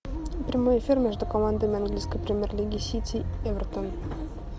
прямой эфир между командами английской премьер лиги сити эвертон